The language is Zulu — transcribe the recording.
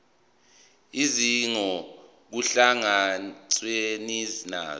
izidingo kuhlangatshezwane nazo